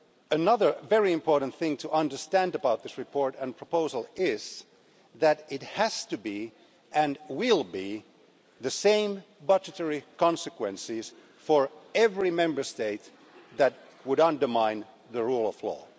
Another very important thing to understand about this report and proposal is that it has to be, and will be, the same budgetary consequences for every Member State that would undermine the rule of law.